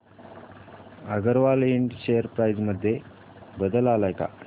अगरवाल इंड share price मध्ये बदल आलाय का